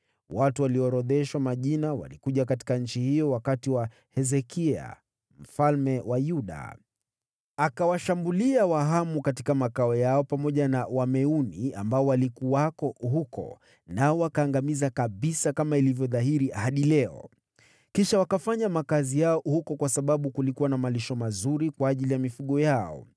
Watu walioorodheshwa majina walikuja katika nchi hiyo wakati wa Hezekia mfalme wa Yuda. Akawashambulia Wahamu katika makao yao pamoja na Wameuni ambao walikuwako huko nao wakawaangamiza kabisa, kama ilivyo dhahiri hadi leo. Kisha wakafanya makazi yao huko kwa sababu kulikuwa na malisho mazuri kwa ajili ya mifugo yao.